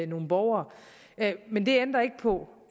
nogle borgere men det ændrer ikke på